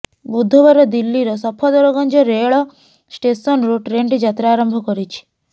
ବୁଧବାର ଦିଲ୍ଲୀର ସଫଦରଗଞ୍ଜ ରେଳ ଷ୍ଟେସନରୁ ଟ୍ରେନଟି ଯାତ୍ରା ଆରମ୍ଭ କରିଛି